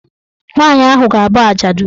Nwaanyị ahụ ga- abụ ajadu.